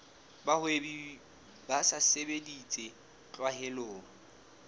bahwebi ba sa sebedise tlwaelo